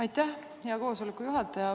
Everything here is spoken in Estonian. Aitäh, hea istungi juhataja!